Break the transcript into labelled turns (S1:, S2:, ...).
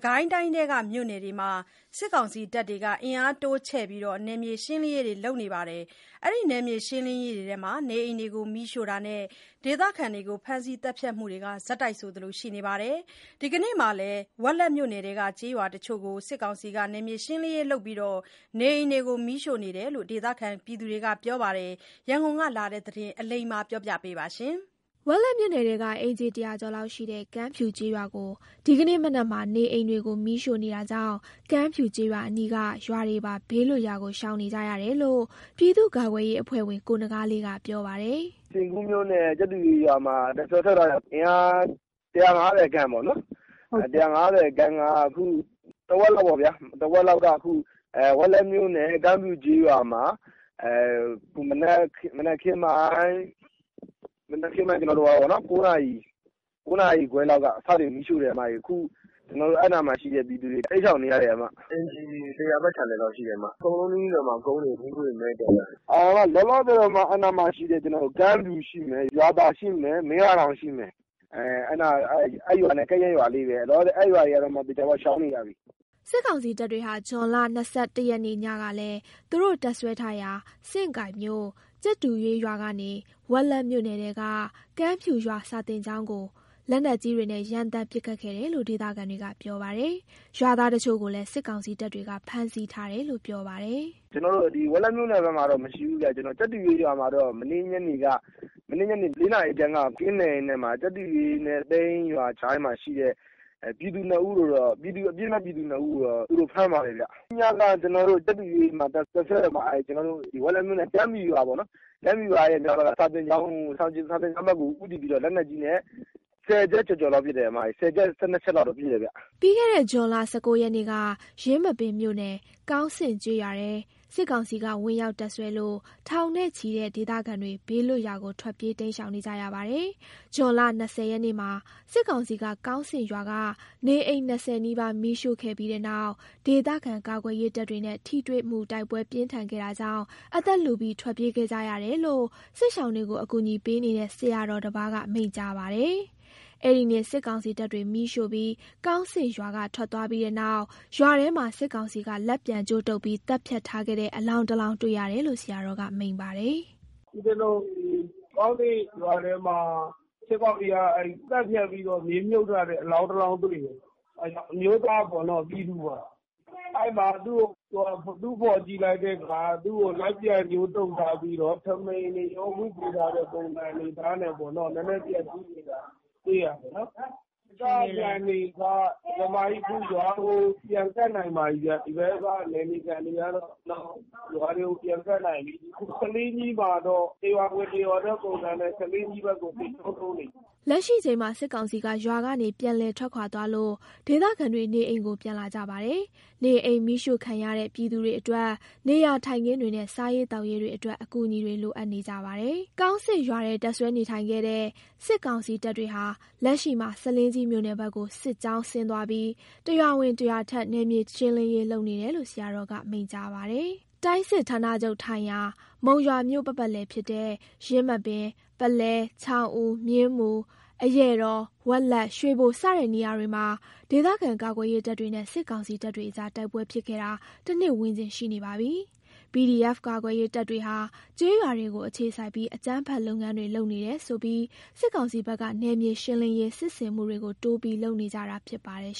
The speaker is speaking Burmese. S1: ကိုင်းတိုင်းထဲက မြို့နယ်တွေမှာ စစ်ကောင်စီတပ်တွေက အင်အားတိုးချဲ့ပြီး နယ်မြေရှင်းလင်းရေးတွေ လုပ်လာသလို နေအိမ်မီးရှို့တာနဲ့ ဒေသခံတွေကို ဖမ်းဆီး သတ်ဖြတ်မှုတွေ ဆက်တိုက်ဆိုသလို ရှိနေပါတယ်။ ဒီကနေ့မှာလည်း ဝက်လက်မြို့နယ်ထဲက ကျေးရွာတချို့ကို စစ်ကောင်စီက နယ်မြေရှင်းလင်းရေးလုပ်နေပြီး နေအိမ်တွေကိုလည်း မီးရှို့နေတယ်လို့ ဒေသခံတွေကပြောတဲ့အကြောင်း ရန်ကုန်ကလာတဲ့သတင်းကို အလိမ္မာက တင်ပြပေးထားပါတယ်။ ဝက်လက်မြို့နယ်ထဲက အိမ်ခြေ ၁၀၀ ကျော်လောက်ရှိတဲ့ ကမ်းဖြူကျေးရွာကို ဒီကနေ့မနက်မှာ နေအိမ်တွေကို မီးရှို့နေတာကြောင့် ကမ်းဖြူကျေးရွာအနီးက ရွာတွေပါ ဘေးလွတ်ရာကို ရှောင်နေကြရတယ်လို့ ပြည်သူ့ကာကွယ်ရေးအဖွဲ့ဝင် ကိုနဂါးလေးက ပြောပါတယ်။
S2: “စဉ့်ကူးမြို့နယ် ကြက်တူရွေးရွာမှာ တပ်စွဲထားတဲ့ကောင်တွေက (စကစ) အင်အာ ၁၅၀ ခန့်ပေါ့နှော်။ အခု တဝက်လောက်က ခု ဝက်လက်မြို့နယ် ကမ်းဖြူကျေးရွာမှာ မနက်ခင်းပိုင်း ၉ နာရီခွဲလောက်က စပြီး မီးရှို့တယ်။ အဲ့နားမှာ ရှိတဲ့ ပြည်သူတွေ တိမ်းရှောင်နေရတယ်ဗျ။ အိမ်ခြေ ၁၀၀ ဝန်းကျင်လောက်ရှိတယ်၊ အကုန်ကုန်မယ်ထင်တယ်၊ မီးခိုးတွေအများကြီးပဲ မည်းတက်လာတယ်။ လောလောဆယ် အဲ့နားက ကမ်းဖြူရှိမယ်၊ ရွာသာရှိမယ်၊ မင်းရာတောင် ရှိမယ် အဲ့ရွာနဲ့ ကပ်ရက် ရွာလေးတွေရောပေါ့၊ အဲ့ရွာတွေကတော့ သေချာပေါက် ရှောင်နေရပြီ။
S1: ” စစ်ကောင်စီတပ်တွေဟာ ဇွန်လ ၂၁ ရက်နေ့ညကလည်း သူတို့တပ်စွဲထားရာ စဉ်ကိုင်မြို့ ကြက်တူရွေးရွာကနေ ဝက်လက်မြို့နယ်ထဲက ကမ်းဖြူရွာ စာသင်ကျောင်းကို လက်နက်ကြီးတွေနဲ့ ရမ်းသမ်းပစ်ခတ်ခဲ့တယ်လို့ ဒေသခံတွေကပြောပါတယ်။ ရွာသားတချို့ကိုလည်း စစ်ကောင်စီတပ်တွေက ဖမ်းဆီးထားတယ်လို့ ပြောပါတယ်။
S2: “ကျနော်တို့ ဝက်လက်မြို့နယ်ထဲမှာတော့ အဖမ်းအဆီးမရှိဘူးဗျ။ မနေ့ညနေ ၄ နာရီခွဲလောက်က သူတို့တွေ(စကစ) ကင်းလှည့်ရင်းနဲ့မှ ကြက်တူရွေးနဲ့ သဲအင်း ရွာကြားမှာရှိတဲ့ ပြည်သူ ၂ ဦးကိုတော့ သူတို့ ဖမ်းသွားတယ်ဗျ။ မနေ့ညက ကြက်တူရွေးမှာ တပ်စွဲတဲ့ကောင်တွေက ဝက်လက်မြို့နယ် ကမ်းဖြူရွာပေါ့နှော် အဲ့ဒီကမ်းဖြူရွာက စာသင်ကျောင်းကို ဦးတည်ပြီးတော့ လက်နက်ကြီးနဲ့ ၁၀ ချက်ကျော်ကျော် ၁၂ ချက်လောက်ပစ်တယ်ဗျ။
S1: ” ပြီးခဲ့တဲ့ ဇွန်လ ၁၉ ရက်နေ့က ယင်းမာပင်မြို့နယ် ကောင်းဆင့်ကျေးရွာထဲ စစ်ကောင်စီက ဝင်ရောက်တပ်စွဲလို့ ထောင်နဲ့ချီတဲ့ ဒေသခံတွေ ဘေးထွက်ရာကို ထွက်ပြေးရှောင်တိမ်းနေရပါတယ်။ ဇွန် ၂၀ ရက်နေ့မှာ စစ်ကောင်စီက ကောင်းဆင့်ရွာက နေအိမ် ၂၀ နီးပါး မီးရှို့ခဲ့ပြီးတဲ့နောက် ဒေသကာကွယ်ရေးတပ်တွေနဲ့ ထိတွေ့မှုတိုက်ပွဲပြင်းထန်ခဲ့တာကြောင့် အသက်လုပြီး ထွက်ပြေးခဲ့ရတယ်လို့ စစ်ရှောင်တွေကို ကူညီပေးနေတဲ့ ဆရာတော်တပါးက မိန့်ကြားပါတယ်။ အဲ့ဒီနေ့ စစ်ကောင်စီတပ်တွေ မီးရှို့ပြီး ကောင်းဆင့်ရွာက ထွက်သွားပြီးတဲ့နောက် ရွာထဲမှာ စစ်ကောင်စီက လက်ပြန်ကြိုးတုပ်ပြီး သတ်ဖြတ်ထားခဲ့တဲ့ အလောင်းတလောင်း တွေ့ရတယ်လို့ ဆရာတော်က မိန့်ပါတယ်။
S2: “ဦးဇင်းတို့ ဒီကောင်းဆင့်ရွာထဲမှာ စစ်ကောင်စီက သတ်ဖြတ်ပြီးတော့ မြေမြှုပ် ထားတဲ့ အလောင်းတလောင်းတွေ့တယ်။ အမျိုးသားပေါ့နော် ပြည်သူပါ၊ အဲ့မှာ သူ့ကို တူးဖော်ကြည့်လိုက်တဲ့အခါ သူ့ကို လက်ပြန်ကြိုးတုပ်ထားပြီးတော့ ထမိန်တွေရော ဝတ်ပေးထားတဲ့ ပုံစံအနေအထားနဲ့ပေါ့နော်။ နည်းနည်းပျက်စီးနေတာ တွေ့ရတယ်နော်။ ဒေသခံတွေက အခုရွာကိုပြန်ကပ်နိုင်ပါပြီးဗျ။ ဒီဘက်က နယ်မြေခံတွေက ရွာတွေကိုပြန်ကပ်နိုင်ပြီး အခုဆားလင်းကြီးမှာတော့ တရွာဝင်တရွာထွက် ပုံစံနဲ့ ဆားလင်းကြီးဘက်ကို စစ်ကြောင်းထ
S1: ိုးနေပြီ။” လက်ရှိချိန်မှာ စစ်ကောင်စီက ရွာကနေ ပြန်လည်ထွက်ခွာသွားလို့ ဒေသခံတွေ နေအိမ်ကိုပြန်လာကြပါတယ်။ နေအိမ်မီးရှို့ခံရတဲ့ ပြည်သူတွေအတွက် နေရာထိုင်ခင်းတွေနဲ့ စားရေးသောက်ရေးတွေအတွက် အကူအညီတွေ လိုအပ်နေကြပါတယ်။ ကောင်းဆင့်ရွာထဲ တပ်စွဲနေထိုင်ခဲ့တဲ့ စီကောင်စီတပ်တွေဟာ လက်ရှိမှာ ဆားလင်းကြီးမြို့နယ်ဘက်ကို စစ်ကြောင်းဆင်းသွားပြီး တရွာဝင် တရွာထွက် နယ်မြေရှင်းလင်းရေး လုပ်နေတာလို့ ဆရာတော်က မိန့်ကြားပါတယ်။ တိုင်းစစ်ဌာနချုပ်ထိုင်ရာ မုံရွာမြို့ ပတ်ပတ်လည်ဖြစ်တဲ့ ယင်းမာပင်၊ ပုလဲ၊ ချောင်းဦး၊ မြင်းမူ၊ အရာတော်၊ ဝက်လက်၊ ရွှေဘို စတဲ့ နေရာတွေမှာ ဒေသခံကာကွယ်ရေးတပ် တွေနဲ့စစ်ကောင်စီတပ်တွေအကြား တိုက်ပွဲဖြစ်ခဲ့တာ တနှစ်ဝန်းကျင်ရှိနေပါပြီ။ PDF ကာကွယ်ရေးတပ်တွေဟာ ကျေးရွာတွေကို အခြေစိုက်ပြီး အကြမ်းဖက်လုပ်ငန်းတွေ လုပ်နေတယ်ဆိုပြီး စစ်ကောင်စီဘက်က နယ်မြေရှင်းလင်းရေး စစ်ဆင်မှုတွေကို တိုးပြီး လုပ်လာနေတာဖြစ်ပါတယ်